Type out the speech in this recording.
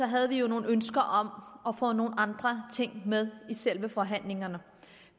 havde vi jo nogle ønsker om at få nogle andre ting med i selve forhandlingerne